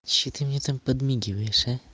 что ты мне там подмигиваешь а